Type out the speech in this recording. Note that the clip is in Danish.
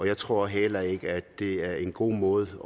jeg tror heller ikke at det er en god måde